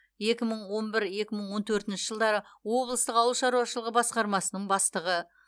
екі мың он бір екі мың он төртінші жылдары облыстық ауыл шаруашылығы басқармасының бастығы